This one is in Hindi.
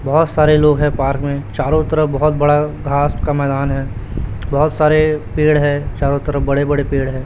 बहोत सारे लोग है पार्क में चारो तरफ बहोत बड़ा घास का मैदान है बहोत सारे पेड़ है चारों तरफ बडे-बड़े पेड़ है।